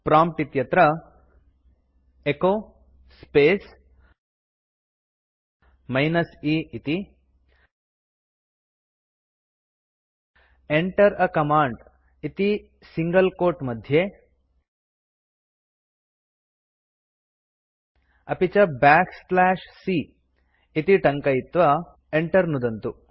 prompt इत्यत्र echo space minus e इति Enter a command इति सिंगल quote मध्ये अपि च बैक स्लैश c इति टङ्कयित्वा enter नुदन्तु